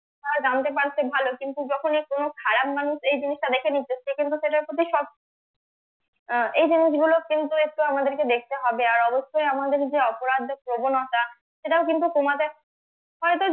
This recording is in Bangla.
জানতে পারছে ভালো কিন্তু যখনই কোনো খারাপ মানুষ এই জিনিসটা দেখে নিচ্ছে সে কিন্তু সেটার প্রতি সব আহ এই জিনিসগুলো কিন্তু একটু আমাদেরকে দেখতে হবে আর অবশ্যই আমাদের যে অপরাধ বা প্রবণতা সেটাও কিন্তু কমাতে হয়তো